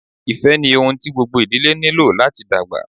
Ifẹ ni ohun ti gbogbo idile nilo lati dagba.